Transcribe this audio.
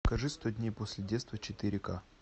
покажи сто дней после детства четыре ка